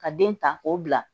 Ka den ta k'o bila